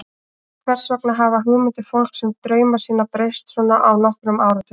Hvers vegna hafa hugmyndir fólks um drauma sína breyst svona á nokkrum áratugum?